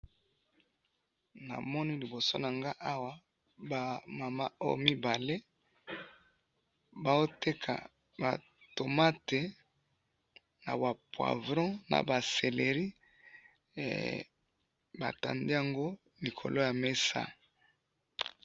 namoni liboso nangai awa, ba mama oyo mibale, bazoteka ba tomates, naba poivrons, naba celery, batandi yango likolo ya mesa